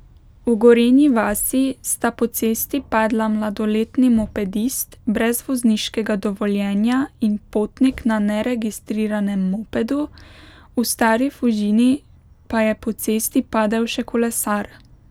V Gorenji vasi sta po cesti padla mladoletni mopedist brez vozniškega dovoljenja in potnik na neregistriranem mopedu, v Stari Fužini pa je po cesti padel še kolesar.